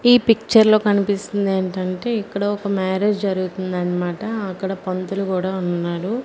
ఈ పిక్చర్ లో కనిపిస్తుంది ఏంటంటే ఇక్కడ ఒక మ్యారేజ్ జరుగుతుందన్మాట అక్కడ పంతులు గూడా ఉన్నాడు.